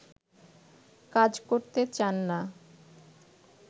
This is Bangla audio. কাজ করতে চান না